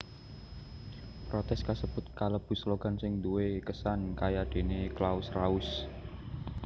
Protès kasebut kalebu slogan sing duwé kesan kayadéné Claus raus